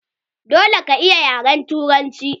Dole ka iya yaren turanci!